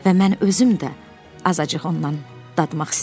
Və mən özüm də azacıq ondan dadmaq istədim.